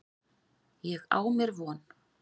Ég á mér von.